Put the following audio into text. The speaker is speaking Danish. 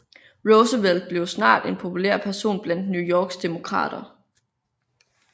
Roosevelt blev snart en populær person blandt New Yorks Demokrater